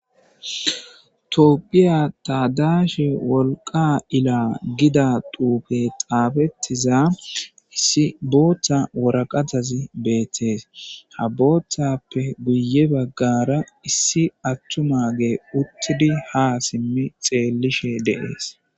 Tophphiya tadashshe wolqqa illa giida xufey xafettiza issi booththa waraqqatazi bettes ha boththappe guye baggara issi atuma uttidi ha simi xallishe de'ess.